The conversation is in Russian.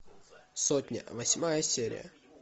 сотня восьмая серия